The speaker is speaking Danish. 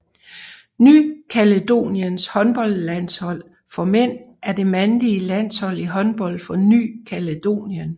Ny Kaledoniens håndboldlandshold for mænd er det mandlige landshold i håndbold for Ny Kaledonien